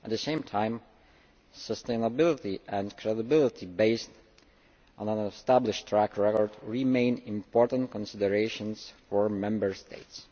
At the same time, sustainability and credibility based on an established track record remain important considerations for Member States.